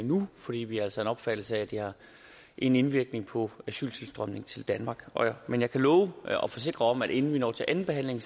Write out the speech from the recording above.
nu fordi vi altså af opfattelse at det har en indvirkning på asyltilstrømningen til danmark men jeg kan love og forsikre om at inden vi når til andenbehandlingen